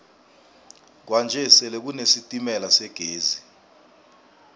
kwanje sele kune sitemala segezi